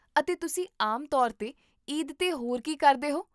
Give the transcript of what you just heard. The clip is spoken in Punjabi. ਅਤੇ ਤੁਸੀਂ ਆਮ ਤੌਰ 'ਤੇ ਈਦ 'ਤੇ ਹੋਰ ਕੀ ਕਰਦੇ ਹੋ?